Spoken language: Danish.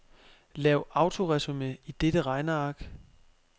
Lav autoresumé i dette regneark.